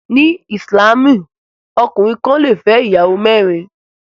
Ní ìsìlámù, ọkùnrin kan lè fẹ́ ìyàwó mẹ́rin